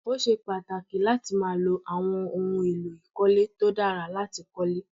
Ó ṣe pàtàkì láti máa lo àwọn ohun èlò ìkọ́lé tó dára láti kólé